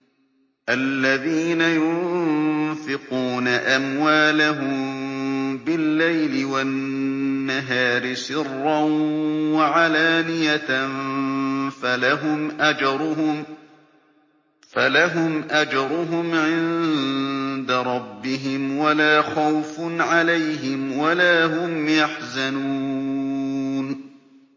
الَّذِينَ يُنفِقُونَ أَمْوَالَهُم بِاللَّيْلِ وَالنَّهَارِ سِرًّا وَعَلَانِيَةً فَلَهُمْ أَجْرُهُمْ عِندَ رَبِّهِمْ وَلَا خَوْفٌ عَلَيْهِمْ وَلَا هُمْ يَحْزَنُونَ